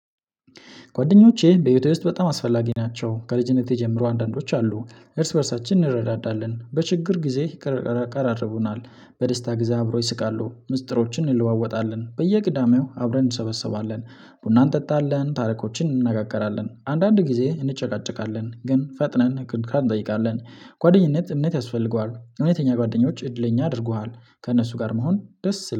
ጓደኞቼ በህይወቴ ውስጥ በጣም አስፈላጊ ናቸው። ከልጅነቴ ጀምሮ አንዳንዶች አሉ እርስ በእርሳችን እንረዳዳለን በችግር ጊዜ ያቀራርቡናል በደስታ ጊዜ አብሮ ይስቃሉ ምስጢሮችን እንለዋወጣለን በየቅዳሜው አብረን እንሰበሰባለን። ቡና እንጠጣለን ታሪኮችን እንነጋገራለን አንዳንድ ጊዜ እንጨቃጨቃለን ግን ፈጥነን ይቅርታ እንጠይቃለን። ጓደኝነት እምነት ያስፈልገዋል። እውነተኛ ጓደኞች እድለኛ አድርጉሃል። ከእነሱ ጋር መሆን ደስ ይላል